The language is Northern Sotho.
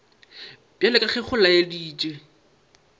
bjalo ka ge go laeditšwe